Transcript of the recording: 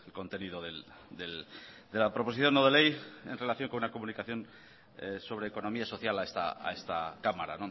contenido de la proposición no de ley en relación con la comunicación sobre economía social a esta cámara